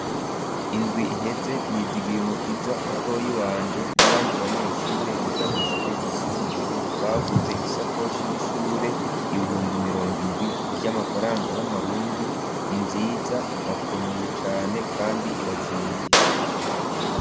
Indwi iheze Nizigiymukiza mutoyi wanje n'abandi banyeshure bigamwishure ryisumbuye baguze isakoshi y'ishure ibihumbi mirongo indwi ry'amafaranga y'amarundi ninziza irakomeye cane kandi irazimvye